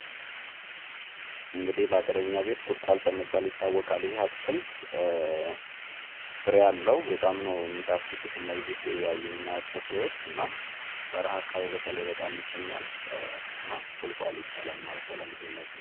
ባገርኛ ቤት ቁልቋል በመባል የሚታወቅ ሲሆን ፤ ጣፋጭ ፍሬዎች ሲኖሩት ለምግብነት ይውላል። አብዛኛውን ጊዜ በበረሃ አካባቢ ይበቅላል።